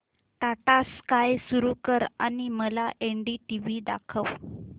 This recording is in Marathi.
टाटा स्काय सुरू कर आणि मला एनडीटीव्ही दाखव